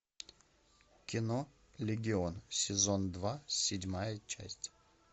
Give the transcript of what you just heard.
кино легион сезон два седьмая часть